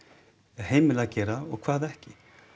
heimila að gera og hvað ekki